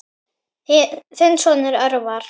Þinn sonur, Örvar.